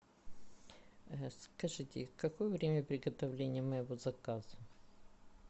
скажите какое время приготовления моего заказа